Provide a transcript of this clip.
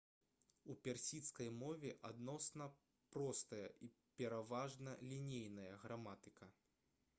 у персідскай мове адносна простая і пераважна лінейная граматыка